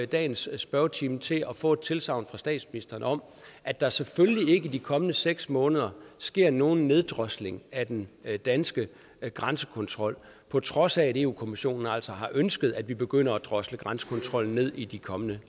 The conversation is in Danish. dagens spørgetime til at få et tilsagn fra statsministeren om at der selvfølgelig ikke i de kommende seks måneder sker nogen neddrosling af den danske grænsekontrol på trods af at eu kommissionen altså har ønsket at vi begynder at drosle grænsekontrollen ned i de kommende